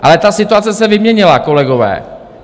Ale ta situace se vyměnila, kolegové.